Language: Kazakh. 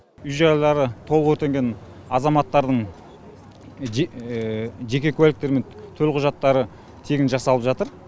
үй жайлары толық өртенген азаматтардың жеке куәліктері мен төлқұжаттары тегін жасалып жатыр